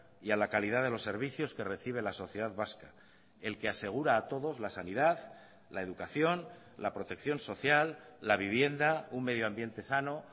y a la calidad de los servicios que recibe la sociedad vasca el que asegura a todos la sanidad la educación la protección social la vivienda un medio ambiente sano